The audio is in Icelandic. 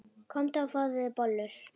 Komdu og fáðu þér bollur.